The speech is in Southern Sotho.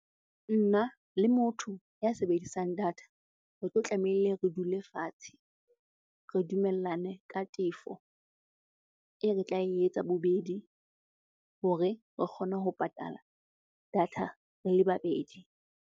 Nna le motho ya sebedisang data re tlo tlameile re dule fatshe. Re dumellane ka tefo e re tla e etsa bobedi hore re kgone ho patala data re le babedi.